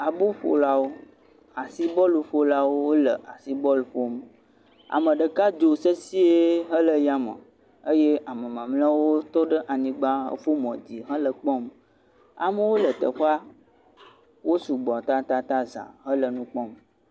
Aboƒolawo, asi bɔluƒolawo le asi bɔlu ƒom, ame ɖeka dzo sesɛ̃e hele yame eye ame mamleawo tɔ ɖe anyigba hefɔ mo dzi hele kpɔm. Amewo le teƒea, wosugbɔ tatataŋ za hele nu kpɔm.